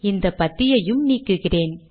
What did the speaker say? இந்த பத்தியையும் நீக்குகிறேன்